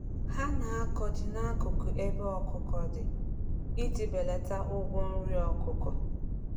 Ha na-akọ ji n'akụkụ ebe ọkụkọ dị iji belata ụgwọ nri ọkụkọ.